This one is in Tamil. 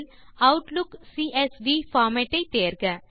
பீல்ட் இல் ஆட்லுக் சிஎஸ்வி பார்மேட் ஐ தேர்க